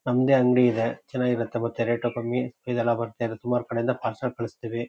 ನಮ್ಮದೇ ಅಂಗಡಿ ಇದೆ ಚೆನ್ನಾಗಿರುತ್ತೆ ಮತ್ತೆ ರೇಟು ಕಮ್ಮಿ. ಇದೆಲ್ಲ ಬರ್ತಾಇರುತ್ತೆ ಸುಮಾರು ಕಡೆ ಇಂದ ಪಾರ್ಸೆಲ್ ಕಳುಸುತ್ತೀವಿ.